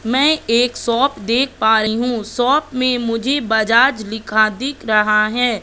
मैं एक सॉप देख पा रही हूं सॉप में मुझे बजाज लिखा दिख रहा है।